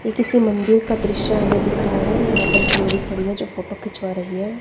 ये किसी मंदिर का दृश्य हमे दिख रहा है यहां पर एक लेडी खड़ी है जो फोटो खिंचवा रही हैं।